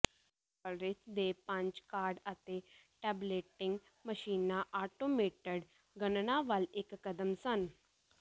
Hollerith ਦੇ punch card ਅਤੇ tabulating ਮਸ਼ੀਨਾਂ ਆਟੋਮੇਟਡ ਗਣਨਾ ਵੱਲ ਇੱਕ ਕਦਮ ਸਨ